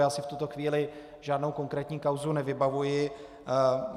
Já si v tuto chvíli žádnou konkrétní kauzu nevybavuji.